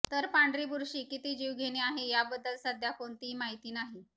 तर पांढरी बुरशी किती जीवघेणी आहे याबद्दल सध्या कोणतीही माहिती नाही